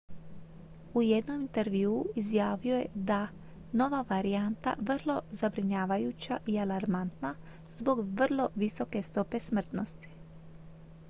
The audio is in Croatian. u jednom intervjuu izjavio je da nova varijanta vrlo zabrinjavajuća i alarmantna zbog vrlo visoke stope smrtnosti